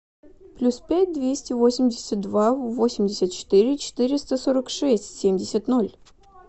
плюс пять двести восемьдесят два восемьдесят четыре четыреста сорок шесть семьдесят ноль